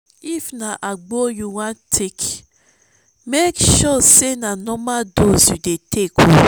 if na agbo yu wan take mek sure sey na normal dose you dey take